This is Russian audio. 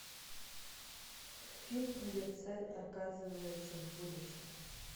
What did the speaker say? фильм где царь оказывается в будущем